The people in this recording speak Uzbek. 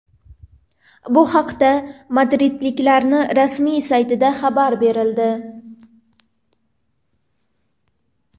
Bu haqda madridliklarning rasmiy saytida xabar berildi .